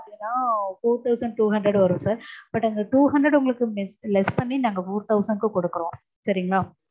பாத்தீங்கன்னா four thousand and two hundred வரும் sir but அந்~ two hundred உங்களுக்கு less பண்ணி நாங்க four thousand க்கு கொடுக்கறோம் சரிங்களா